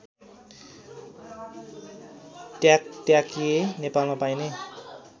ट्याकट्याके नेपालमा पाइने